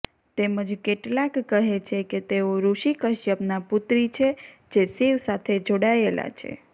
તેમજ કેટલાક કહે છે કે તેઓ ઋષિ કશ્યપના પુત્રી છે જે શિવ સાથે જોડાયેલા છે